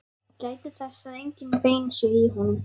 Gætið þess að engin bein séu í honum.